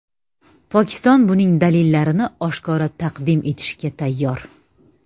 Pokiston buning dalillarini oshkora taqdim etishga tayyor.